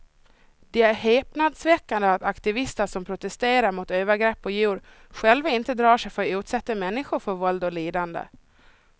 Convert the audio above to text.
Det är häpnadsväckande att aktivister som protesterar mot övergrepp på djur själva inte drar sig för att utsätta människor för våld och lidande.